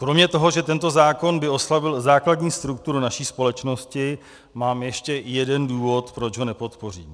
Kromě toho, že tento zákon by oslabil základní strukturu naší společnosti, mám ještě jeden důvod, proč ho nepodpořím.